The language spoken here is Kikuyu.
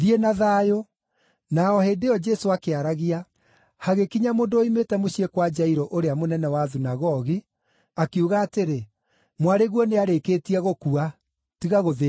Na o hĩndĩ ĩyo Jesũ akĩaragia, hagĩkinya mũndũ woimĩte mũciĩ kwa Jairũ ũrĩa mũnene wa thunagogi, akiuga atĩrĩ, “Mwarĩguo nĩarĩkĩtie gũkua, tiga gũthĩĩnia Mũrutani.”